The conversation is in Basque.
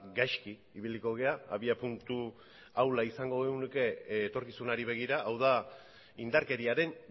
gaizki ibiliko gara abiapuntu ahula izango genuke etorkizunari begira hau da indarkeriaren